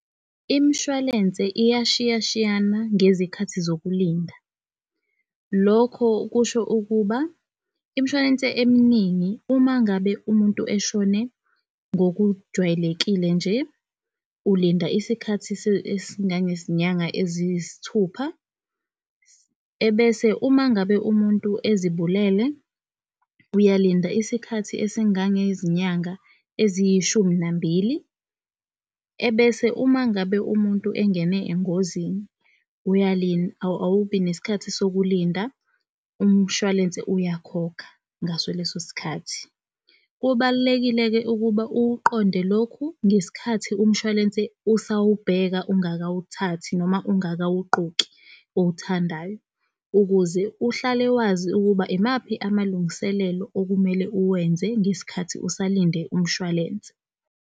Imshwalense iyashiyashiyana ngezikhathi zokulinda. Lokho kusho ukuba imshwalense eminingi, uma ngabe umuntu eshone ngokujwayelekile nje, ulinda isikhathi esingange zinyanga eziyisithupha, ebese umangabe umuntu ezibulele, uyalinda isikhathi esingange zinyanga eziyishumi nambili. Ebese umangabe umuntu engene engozini, awubi nesikhathi sokulinda umshwalense uyakhokha ngaso leso sikhathi. Kubalulekile-ke ukuba ukuqonde lokhu ngesikhathi umshwalense usawubheka, ungakawuthathi noma ungakawugqoki owuthandayo, ukuze uhlale wazi ukuba imaphi amalungiselelo okumele uwenze ngesikhathi usalinde umshwalense.